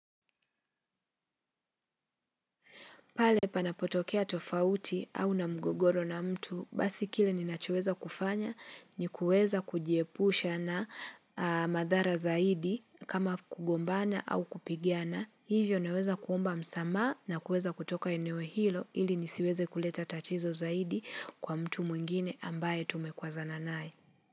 Pale panapotokea tofauti au na mgogoro na mtu, basi kile ninachoweza kufanya ni kuweza kujiepusha na madhara zaidi kama kugombana au kupigana. Hivyo naweza kuomba msamaha na kuweza kutoka eneo hilo ili nisiweze kuleta tatizo zaidi kwa mtu mwingine ambaye tumekuwazana naye.